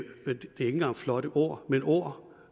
engang flotte ord men ord